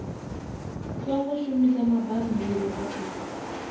songo shumisa mabammbiri a u